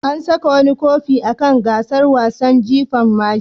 An saka wani kofi kan gasar wasan jifan mashi.